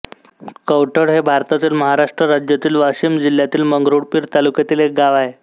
कवठळ हे भारतातील महाराष्ट्र राज्यातील वाशिम जिल्ह्यातील मंगरुळपीर तालुक्यातील एक गाव आहे